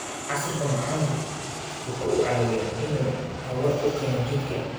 Casiirka macaanku waxa uu caawiyaa in uu tamar u keeno jidhka.